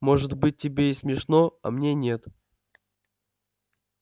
может быть тебе и смешно а мне нет